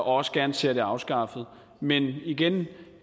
også gerne ser det afskaffet men igen